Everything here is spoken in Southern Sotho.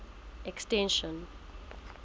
extension